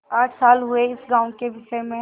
आठ साल हुए इस गॉँव के विषय में